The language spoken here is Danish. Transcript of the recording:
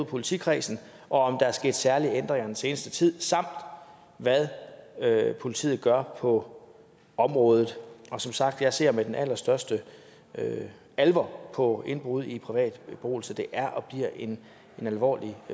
politikredsen og om der er sket særlige ændringer den seneste tid samt hvad politiet gør på området og som sagt jeg ser med den allerstørste alvor på indbrud i privat beboelse det er og bliver en alvorlig